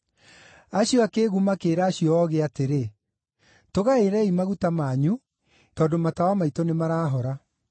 Acio akĩĩgu makĩĩra acio oogĩ atĩrĩ, ‘Tũgaĩrei maguta manyu tondũ; matawa maitũ nĩmarahora.’